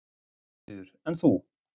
Sigríður: En þú?